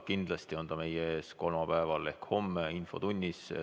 Kindlasti on ta meie ees kolmapäeval ehk homme infotunnis.